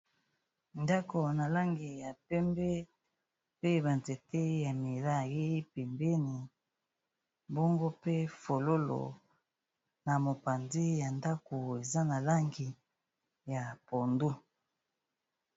Ndako na langi ya pembe pe banzete ya milai pembeni bongo pe fololo na mopandi ya ndako eza na langi ya pondu